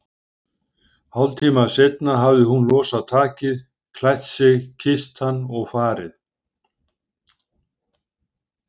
Hálftíma seinna hafði hún losað takið, klætt sig, kysst hann og farið.